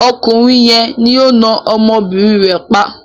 Ọkùnrin yẹn ni ó na ọmọbìnrin rẹ̀ pa.